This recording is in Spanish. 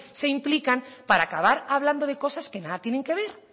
se implican para acabar hablando de cosas que nada tienen que ver